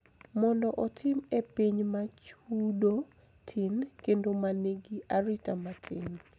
Mondo otim e piny ma chudo tin kendo ma nigi arita matin.